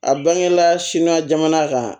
A bangela sina jamana kan